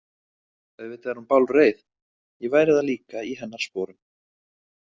Auðvitað er hún bálreið, ég væri það líka í hennar sporum.